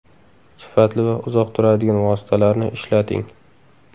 Sifatli va uzoq turadigan vositalarni ishlating.